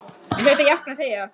Ég hlaut að jánka og þegja.